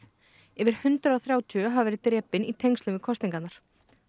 yfir hundrað og þrjátíu hafa verið drepin í tengslum við kosningarnar